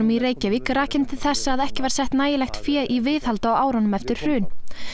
í Reykjavík rakin til þess að ekki var sett fé í viðhald á árunum eftir hrun